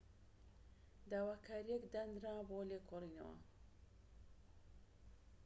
داواکاریەك دانرا بۆ لێکۆڵینەوە